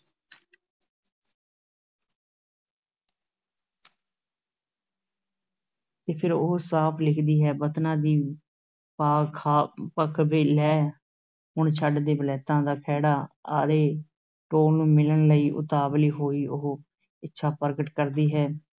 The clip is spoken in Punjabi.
ਤੇ ਫਿਰ ਉਹ ਸਾਫ਼ ਲਿਖਦੀ ਹੈ, ਵਤਨਾਂ ਦੀ ਭਖ ਭਖ ਵੇ ਲੈ, ਹੁਣ ਛਡ ਦੇ ਵਲੈਤਾਂ ਦਾ ਖਹਿੜਾ ਅਤੇ ਢੋਲ ਨੂੰ ਮਿਲਣ ਲਈ ਉਤਾਵਲੀ ਹੋਈ ਉਹ ਇੱਛਾ ਪ੍ਰਗਟ ਕਰਦੀ ਹੈ,